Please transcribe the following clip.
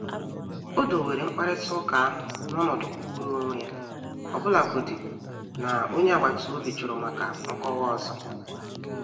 Ó do were mkparịta ụka ahụ n’ọ̀nọdụ kwụụrụ onwe ya, ọbụlagodi na onye agbata obi jụrụ maka nkọwa ọzọ.